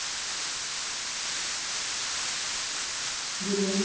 ਗੁਆਂਢੀ।